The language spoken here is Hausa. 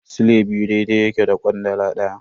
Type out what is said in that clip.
Sile biyu daidai yake da kwandala daya.